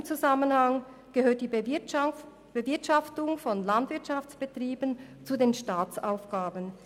In diesem Zusammenhang gehört die Bewirtschaftung von Landwirtschaftsbetrieben zu den Staatsaufgaben.